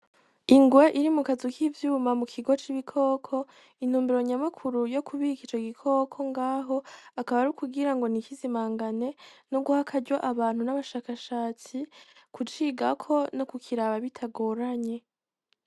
Ingwe iri mukazu k'ivyuma mukigo c'ibikoko, intumbero nyamukuru yo kubika ico gikoko ngaho akaba ar'ukugira ngo ntikizimangane ,no guha akaryo abashakashatsi kucigako no kukiraba bitagoranye.